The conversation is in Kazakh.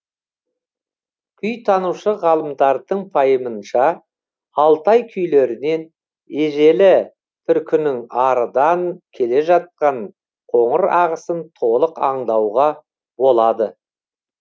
күйтанушы ғалымдардың пайымынша алтай күйлерінен ежелі түркінің арыдан келе жатқан қоңыр ағысын толық аңдауға болады